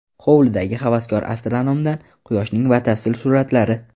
Hovlidagi havaskor astronomdan Quyoshning batafsil suratlari.